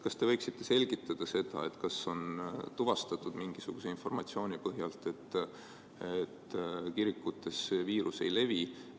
Kas te võiksite selgitada, kas on mingisuguse informatsiooni põhjal tuvastatud, et kirikutes see viirus ei levi?